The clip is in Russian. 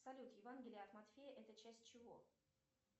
салют евангелие от матфея это часть чего